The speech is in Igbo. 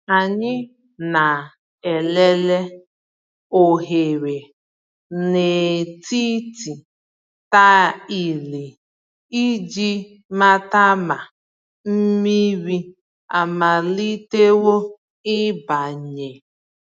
Ànyị na-elele oghere n’etiti ta ịlị iji mata ma mmiri amalitewo ịbanye.